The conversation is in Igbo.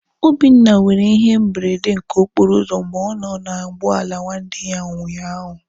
Obinna nwere ihe mberede nke okporo ụzọ mgbe ọ nọ na ụgbọala nwanne ụnyaahụ.